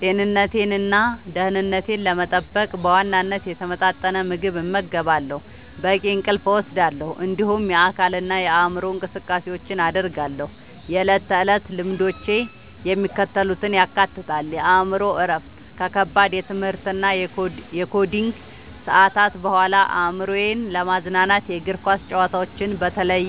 ጤንነቴንና ደህንነቴን ለመጠበቅ በዋናነት የተመጣጠነ ምግብ እመገባለሁ፣ በቂ እንቅልፍ እወስዳለሁ፣ እንዲሁም የአካልና የአእምሮ እንቅስቃሴዎችን አደርጋለሁ። የዕለት ተዕለት ልምዶቼ የሚከተሉትን ያካትታሉ፦ የአእምሮ እረፍት፦ ከከባድ የትምህርትና የኮዲንግ ሰዓታት በኋላ አእምሮዬን ለማዝናናት የእግር ኳስ ጨዋታዎችን (በተለይ